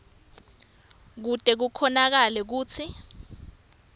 kute kukhonakale kutsi